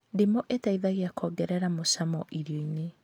Ndimũ ĩteithagia kuongerera mũcamo irio-inĩ